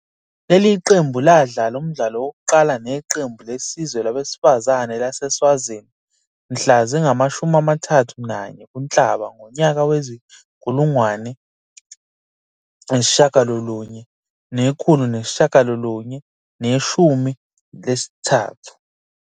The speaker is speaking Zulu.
Leli qembu ladlala umdlalo wokuqala neqembu lesizwe labesifazane laseSwazini mhla zingama-31 kuNhlaba ngonyaka wezi-1993.